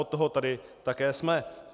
Od toho tady také jsme.